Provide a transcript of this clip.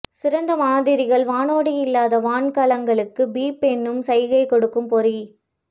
சிறந்த மாதிரிகள் வானோடி இல்லாத வான் கலங்களுக்கு பீப் என்னும் சைகை கொடுக்கும் பொறி